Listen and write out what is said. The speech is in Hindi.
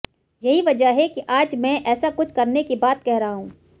यही वजह है कि आज मैं ऐसा कुछ करने की बात कह रहा हूं